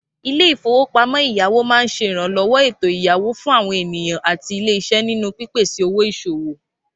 Ilé-ìfowópamọ́ ẹ̀yáwó máa ń ṣe ìrànlọ́wọ́ ètò ẹ̀yáwó fún ènìyàn àti ilé-iṣẹ́ nínú pípèsè owó ìṣòwò